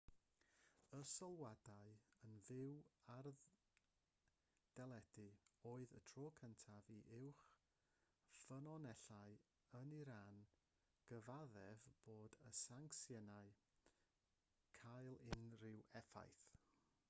y sylwadau yn fyw ar deledu oedd y tro cyntaf i uwch ffynonellau yn iran gyfaddef bod y sancsiynau'n cael unrhyw effaith